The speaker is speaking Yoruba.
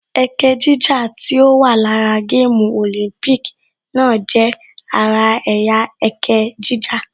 Ẹkẹ jíjà tí ó wà lára gáàmù Olympic náà jẹ́ ara ẹ̀yà ẹkẹ jíjà